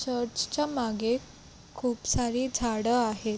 Church च्या मागे खूप सारी झाडं आहेत.